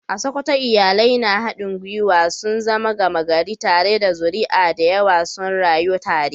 A Sokoto, iyalai na haɗin gwiwa sun zama gama gari, tare da zuri'a da yawa suna rayuwa tare.